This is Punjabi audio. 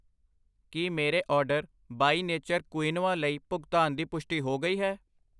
ਕੀ ਮੇਰੇ ਆਰਡਰ ਬਈ ਨੇਚਰ ਕੁਇਨੋਆ ਲਈ ਭੁਗਤਾਨ ਦੀ ਪੁਸ਼ਟੀ ਹੋ ਗਈ ਹੈ?